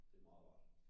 Det er meget rart